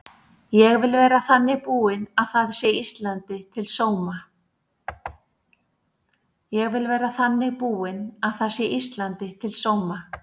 Ég vil vera þannig búin að það sé Íslandi til sóma.